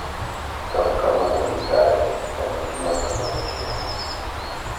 Bang` ka mano odhi kare to eka nyasi makamano timore.